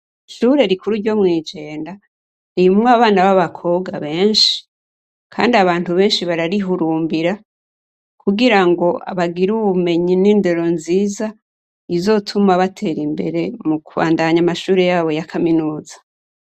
ishure rikuru ryo mu ijenda ririmwo abana b'abakobwa benshi kandi abantu benshi bararihurumbira kugira ngo bagira ubumenyi n'indero nziza izotuma batera imbere mukubandanya amashure yabo ya kaminuza